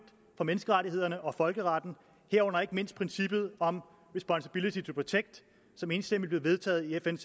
for menneskerettighederne og folkeretten herunder ikke mindst princippet om responsibility to protect som enstemmigt blev vedtaget i fn